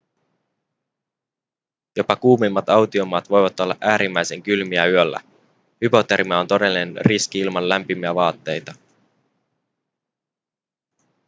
jopa kuumimmat autiomaat voivat olla äärimmäisen kylmiä yöllä hypotermia on todellinen riski ilman lämpimiä vaatteita